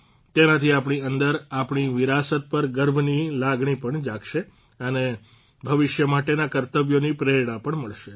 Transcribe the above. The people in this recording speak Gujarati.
તેનાથી આપણી અંદર આપણી વિરાસત પર ગર્વની લાગણી પણ જાગશે અને ભવિષ્ય માટેના કર્તવ્યોની પ્રેરણા પણ મળશે